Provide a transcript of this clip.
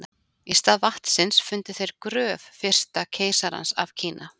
Í stað vatnsins fundu þeir gröf fyrsta keisarans af Kína.